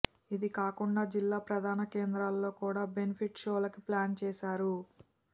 ఇదికాకుండా జిల్లా ప్రధాన కేంద్రాల్లో కూడా బెనిఫిట్ షోలకి ప్లాన్ చేశారు